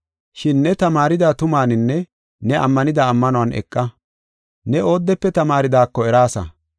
Shin ne tamaarida tumaaninne ne ammanida ammanuwan eqa. Ne oodefe tamaaridaako eraasa.